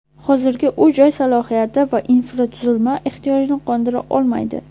Hozirgi uy-joy salohiyati va infratuzilma ehtiyojni qondira olmaydi.